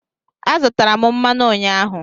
Azụtara m mmanụ ụnyaahụ.